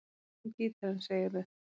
Þú ert með gítarinn, segirðu?